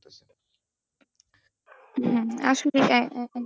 হ্যাঁ আসলে,